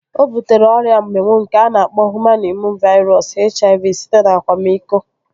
O butere ọrịa mminwụ nke a na-akpọ Hụman Imụn Vairọs (HIV) site n'akwamiko